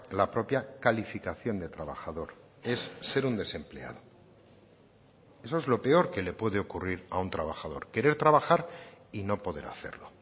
la propia calificación de trabajador es ser un desempleado eso es lo peor que le puede ocurrir a un trabajador querer trabajar y no poder hacerlo